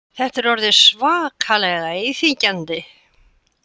Þetta er orðið svakalega íþyngjandi